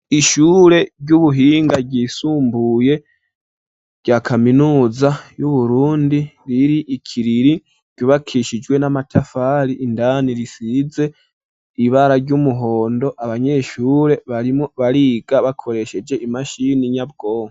Ishure ry'ubuhinga ryisumbuye rya kaminuza y'Uburundi riri ikiriri, ryubakishijwe n'amatafari, indani risize ibara ry'umuhondo, abanyeshure barimwo bariga bakoresheje imashini nyabwonko.